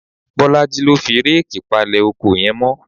Bọ́lájí ló fi réèkì palẹ̀ oko yẹn mọ